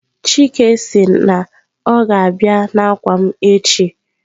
Chike siri na o ga-abia n'akwa m echi.